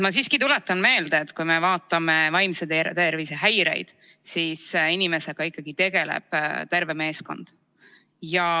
Ma tuletan meelde, et kui me vaatame vaimse tervise häireid, siis inimesega tegeleb ikkagi terve meeskond.